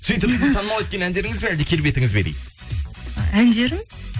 сөйтіп сізді танымал еткен әндеріңіз бе әлде келбетіңіз бе дейді әндерім